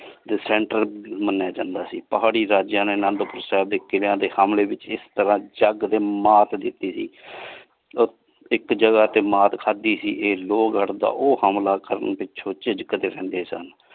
ਤੇ center ਮਨਯਾ ਜਾਂਦਾ ਸੀ ਪਹਾਰੀ ਦਾ ਜਿਵੇ ਅਨੰਦੁਪੁਰ ਸਾਹਿਬ ਦੇ ਕਿਲ੍ਯਾ ਦੇ ਹਮਲੇ ਵਿਚ ਇਸ ਤਰਹ ਚਕ ਦੇ ਮਾਤ ਦਿਤੀ ਸੀ ਓਹ ਇਕ ਜਗਾ ਤੇ ਮਾਰ ਖਾਦੀ ਸੀ ਇਸ ਲੋਹਗਢ਼ ਦਾ ਓਹ ਹਮਲਾ ਕਰਨ ਵਿਚ ਉਹ ਝਿਜਕਦੇ ਰਹਿੰਦੇ ਸਨ।